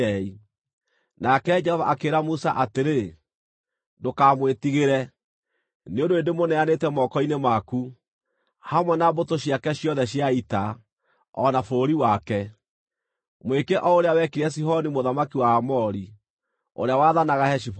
Nake Jehova akĩĩra Musa atĩrĩ, “Ndũkamwĩtigĩre, nĩ ũndũ nĩndĩmũneanĩte moko-inĩ maku, hamwe na mbũtũ ciake ciothe cia ita, o na bũrũri wake. Mwĩke o ũrĩa wekire Sihoni mũthamaki wa Aamori, ũrĩa waathanaga Heshiboni.”